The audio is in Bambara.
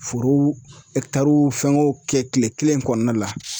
Forow fɛngɛw kɛ kile kelen kɔnɔna la.